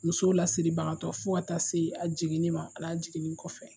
Musow lasiri bakatɔ, fo ka ta se a jiginnima a n'a jiginni kɔfɛ.